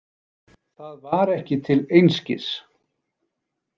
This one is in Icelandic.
Það var ekki til einskis.